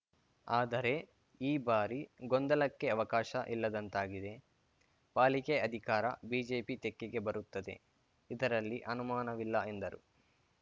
ಆದರೆ ಈ ಬಾರಿ ಗೊಂದಲಕ್ಕೆ ಅವಕಾಶ ಇಲ್ಲದಂತಾಗಿದೆ ಪಾಲಿಕೆ ಅಧಿಕಾರ ಬಿಜೆಪಿ ತೆಕ್ಕೆಗೆ ಬರುತ್ತದೆ ಇದರಲ್ಲಿ ಅನುಮಾನವಿಲ್ಲ ಎಂದರು